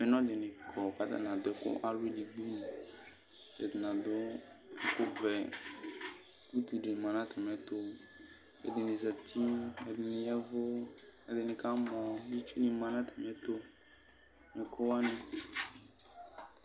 Apɛnɔ dɩnɩ kɔ kʋ atanɩ adʋ ɛkʋ alɔ edigbonɩ Ɛdɩnɩ adʋ ɛkʋvɛ Utu dɩ ma nʋ atamɩɛtʋ kʋ ɛdɩnɩ zati, ɛdɩnɩ ya ɛvʋ, ɛdɩnɩ kamɔ, itsunɩ ma nʋ atamɩɛtʋ, ɛkʋ wanɩ